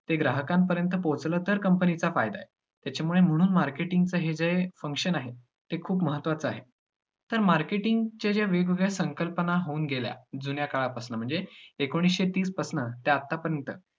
ते ग्राहकांपर्यंत पोहचलं तर, company चा फायदा आहे. त्याच्यामुळे म्हणून marketing च हे जे function आहे, ते खूप महत्वाचा आहे. तर marketing च्या ज्या वेगवेगळ्या संकल्पना होऊन गेल्या जुन्याकाळापासून म्हणजे एकोणीसशे तीसपासनं ते आत्तापर्यंत